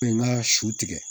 Bɛ n ka su tigɛ